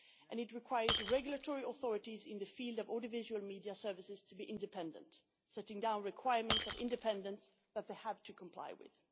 this requires regulatory authorities in the field of audiovisual media services to be independent, setting down requirements of independence that they have to comply with.